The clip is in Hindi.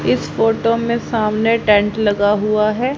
इस फोटो में सामने टेंट लगा हुआ है।